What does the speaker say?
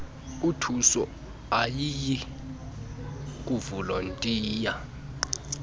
ithuso ayiyiy kuvolontiya